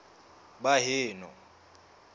baheno